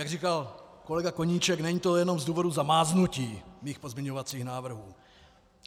Jak říkal kolega Koníček, není to jenom z důvodu zamáznutí mých pozměňovacích návrhů.